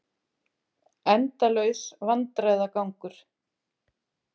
Endalaus vandræðagangur.